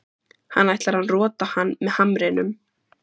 Hann ætlar að rota hann með hamrinum.